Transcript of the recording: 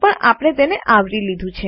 પણ આપણે તેને આવરી લીધું છે